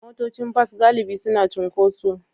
Motocin bas galibi suna cunkoso.